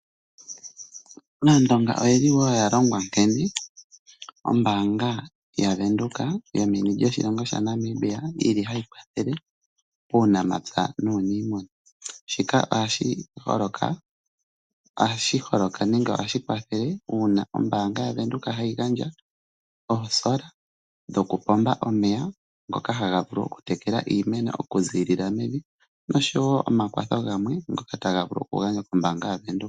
Aandonga oya longwa wo nkene ombaanga yaVenduka yomeni lyoshilongo shaNamibia hayi kwathele uunamapya nuuniimuna. Shika ohashi holoka uuna ombaanga yaVenduka ya gandja oosola dhokupomba omeya ngoka haga vulu okutekela iimeno okuziilila mevi noshowo omakwatho gamwe ngoka taga vulu okugandjwa kombaanga yaVenduka.